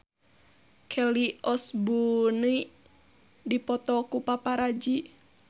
Kelly Osbourne dipoto ku paparazi